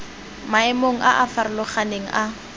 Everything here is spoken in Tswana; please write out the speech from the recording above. maemong a a farologaneng a